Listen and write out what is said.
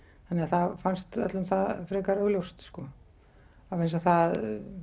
þannig að það fannst það öllum frekar augljóst sko vegna þess að